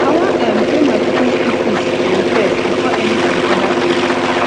i wan um pay my pikin school fees um first before any um other thing